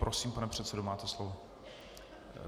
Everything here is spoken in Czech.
Prosím, pane předsedo, máte slovo.